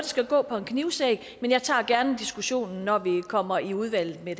skal gå på en knivsæg men jeg tager gerne diskussionen når vi kommer i udvalget med